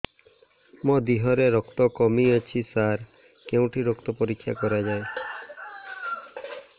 ମୋ ଦିହରେ ରକ୍ତ କମି ଅଛି ସାର କେଉଁଠି ରକ୍ତ ପରୀକ୍ଷା କରାଯାଏ